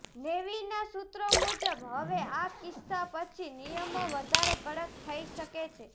નેવીના સૂત્રો મુજબ હવે આ કિસ્સા પછી નિયમો વધારે કડક થઈ શકે છે